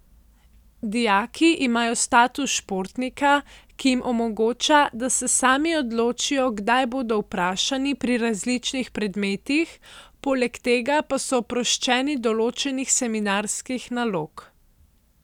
Dijaki imajo status športnika, ki jim omogoča, da se sami odločijo, kdaj bodo vprašani pri različnih predmetih, poleg tega pa so oproščeni določenih seminarskih nalog.